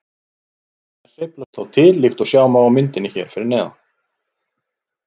Þær sveiflast þó til líkt og sjá má á myndinni hér fyrir neðan.